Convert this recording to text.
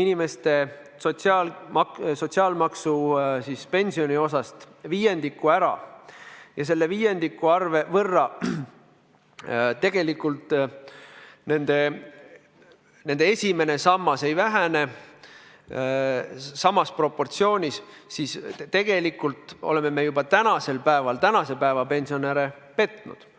inimeste sotsiaalmaksu pensioniosast viiendiku ära ja selle viiendiku võrra tegelikult nende esimene sammas ei vähene samas proportsioonis, siis tegelikult me oleme juba tänasel päeval praegusi pensionäre petnud.